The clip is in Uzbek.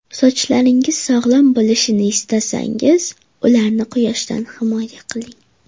Sochlaringiz sog‘lom bo‘lishini istasangiz, ularni quyoshdan himoya qiling.